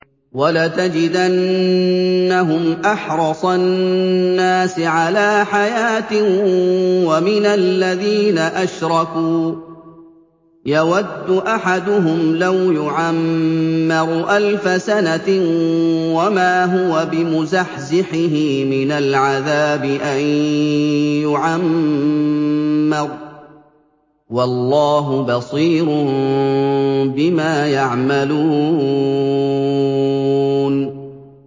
وَلَتَجِدَنَّهُمْ أَحْرَصَ النَّاسِ عَلَىٰ حَيَاةٍ وَمِنَ الَّذِينَ أَشْرَكُوا ۚ يَوَدُّ أَحَدُهُمْ لَوْ يُعَمَّرُ أَلْفَ سَنَةٍ وَمَا هُوَ بِمُزَحْزِحِهِ مِنَ الْعَذَابِ أَن يُعَمَّرَ ۗ وَاللَّهُ بَصِيرٌ بِمَا يَعْمَلُونَ